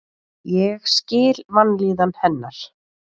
Ég skil vanlíðan hennar.